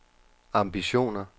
ambitioner